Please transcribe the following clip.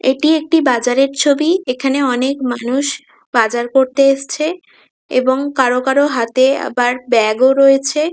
এটি একটি বাজারের ছবি। এখানে অনেক মানুষ বাজার করতে এসেছে এবং কারো কারো হাতে আবার ব্যাগ ও রয়েছে।